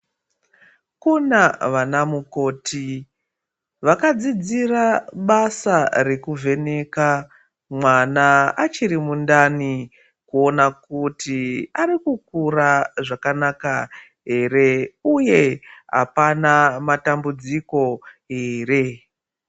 Kuna vanamukoti vakadzidzira basa rekuvheneka mwana achiri mundani kuona kuti arikukura zvakanaka ere uye apana matambudziko ere.